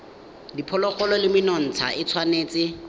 diphologolo le menontsha e tshwanetse